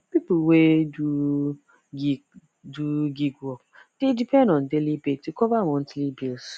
people wey do gig do gig work dey depend on daily pay to cover monthly bills